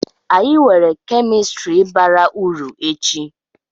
Anyị nwere kemistri bara uru echi.